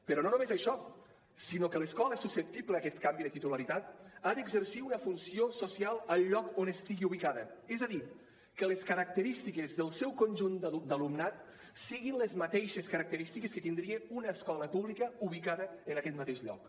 però no només això sinó que l’escola susceptible d’aquest canvi de titularitat ha d’exercir una funció social al lloc on estigui ubicada és a dir que les característiques del seu conjunt d’alumnat siguin les mateixes característiques que tindria una escola pública ubicada en aquest mateix lloc